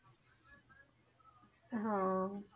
ਹਾਂ।